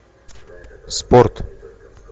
спорт